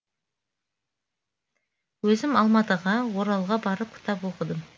өзім алматыға оралға барып кітап оқыдым